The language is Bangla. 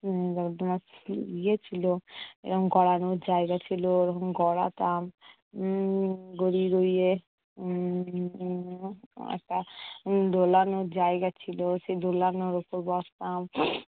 উম ইয়ে ছিলো এরম গড়ানোর জায়গা ছিল, এরকম গড়াতাম। উম গড়িয়ে গড়িয়ে উম উম একটা দোলানোর জায়গা ছিল। সেই দোলানোর উপর বসতাম।